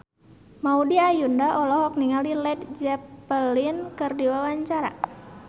Maudy Ayunda olohok ningali Led Zeppelin keur diwawancara